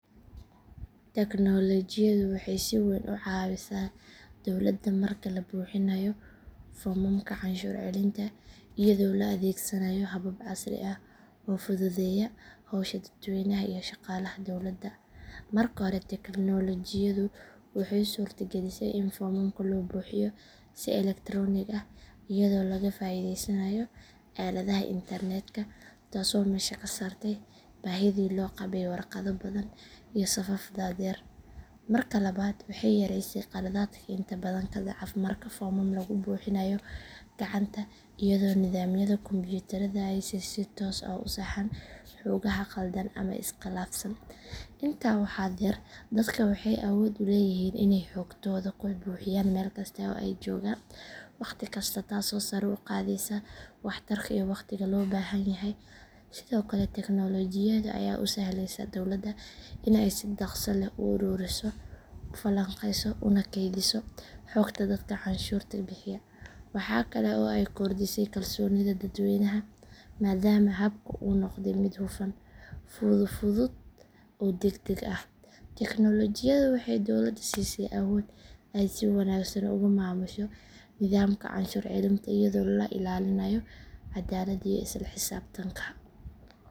Teknoolojiyadu waxay si weyn u caawisaa dowladda marka la buuxinayo foomamka canshuur celinta iyadoo la adeegsanayo habab casri ah oo fududeeya howsha dadweynaha iyo shaqaalaha dowladda. Marka hore teknoolojiyadu waxay suurtagelisay in foomamka loo buuxiyo si elektaroonig ah iyadoo laga faa’iideysanayo aaladaha internetka taasoo meesha ka saartay baahidii loo qabay warqado badan iyo safaf dhaadheer. Marka labaad waxay yaraysay khaladaadka inta badan ka dhaca marka foomam lagu buuxinayo gacanta iyadoo nidaamyada kombuyuutarka ay si toos ah u saxaan xogaha khaldan ama is khilaafsan. Intaa waxaa dheer dadka waxay awood u leeyihiin inay xogtooda ku buuxiyaan meel kasta oo ay joogaan wakhti kasta taasoo sare u qaadaysa waxtarka iyo waqtiga loo baahan yahay. Sidoo kale teknoolojiyada ayaa u sahlaysa dowladda in ay si dhakhso leh u ururiso, u falanqeyso una kaydiso xogta dadka canshuurta bixiya. Waxaa kale oo ay kordhisay kalsoonida dadweynaha maadaama habka uu noqday mid hufan, fudud oo degdeg ah. Teknoolojiyadu waxay dowladda siisay awood ay si wanaagsan ugu maamusho nidaamka canshuur celinta iyadoo la ilaalinayo caddaaladda iyo isla xisaabtanka.